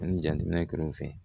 Ani jateminɛkɛlaw fɛ